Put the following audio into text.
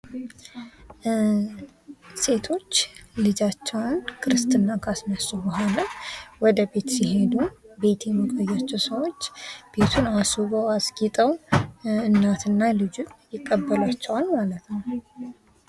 ሴቶች ልጃቸውን ክርስትና ካስነሱ በኃላ ወደ ቤት ሲሄዱ ቤት የምታያቸው ሰዎች ቤቱን አስበው አስጌጠው እናትና ልጅ ይቀበሏቸዋል ማለት ነው።